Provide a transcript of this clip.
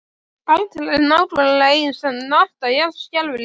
Aldrei nákvæmlega eins en alltaf jafn skelfilegur.